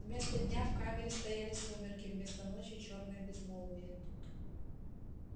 вместо дня в камере стояли сумерки вместо ночи чёрное безмолвие